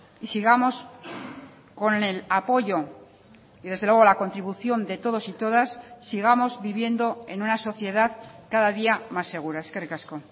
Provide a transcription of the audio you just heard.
y sigamos con el apoyo y desde luego la contribución de todos y todas sigamos viviendo en una sociedad cada día más segura eskerrik asko